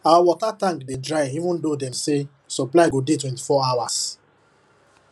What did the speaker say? our water tank dey dry even though dem say supply go dey twenty-four hours